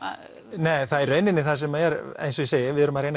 nei það er í rauninni það sem er eins og ég segi við erum að